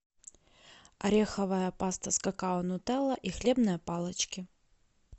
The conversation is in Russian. ореховая паста с какао нутелла и хлебные палочки